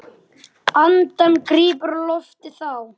Andann gríp á lofti þá.